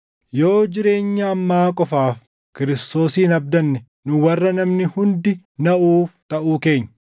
Yoo jireenya ammaa qofaaf Kiristoosin abdanne nu warra namni hundi naʼuuf taʼuu keenya.